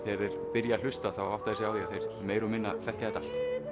byrja að hlusta átta þeir sig á því að þeir meira og minna þekkja þetta allt